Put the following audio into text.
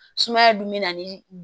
Sumaya dun bɛ na ni